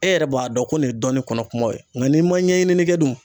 E yɛrɛ b'a dɔn ko nin ye dɔnni kɔnɔ kumaw ye .Nga n'i ma ɲɛɲini ni kɛ dun